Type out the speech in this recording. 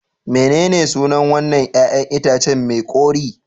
Mene ne sunan wannan 'ƴa'ƴan itacen mai kore